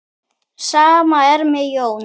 Sama er með Jón.